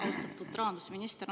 Austatud rahandusminister!